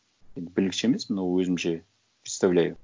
енді білгіш емеспін но өзімше представляю